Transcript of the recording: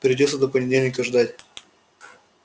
придётся до понедельника ждать